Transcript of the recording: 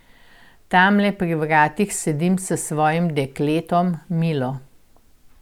Tamle pri vratih sedim s svojim dekletom, Milo.